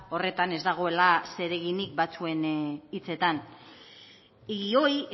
horretan ez dagoela zereginik batzuen hitzetan y hoy